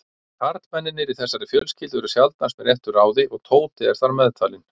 Karlmennirnir í þessari fjölskyldu eru sjaldnast með réttu ráði og Tóti er þar meðtalinn.